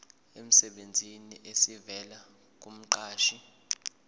emsebenzini esivela kumqashi